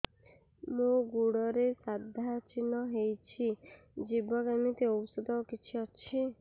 ମୋ ଗୁଡ଼ରେ ସାଧା ଚିହ୍ନ ହେଇଚି ଯିବ କେମିତି ଔଷଧ କିଛି ଅଛି